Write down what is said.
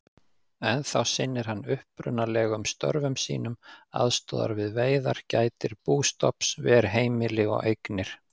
Ennþá sinnir hann upprunalegum störfum sínum, aðstoðar við veiðar, gætir bústofns, ver heimili og eignir.